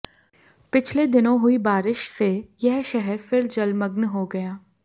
पिछले दिनों हुई बारिश से यह शहर फिर जलमग्न हो गया